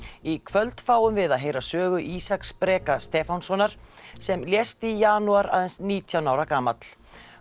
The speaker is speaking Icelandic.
í kvöld fáum við að heyra sögu Ísaks Breka Stefánssonar sem lést í janúar aðeins nítján ára gamall